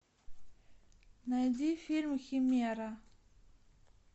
найди фильм химера